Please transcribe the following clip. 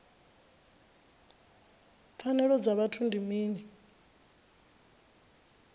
pfanelo dza vhuthu ndi mini